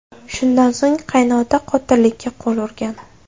Shundan so‘ng qaynota qotillikka qo‘l urgan.